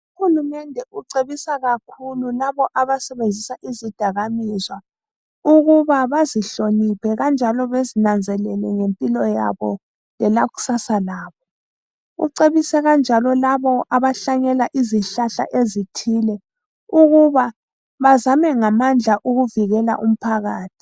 Uhulumende ucebisa kakhulu labo abasebenzisa izidakamizwa ,ukuba bazihloniphe kanjalo bezinanzelele ngempilo yabo lelakusasalabo .Ucebisa kanjalo labo abahlanyela izihlahla ezithile ukuba bazame ngamandla ukuvikela umphakathi.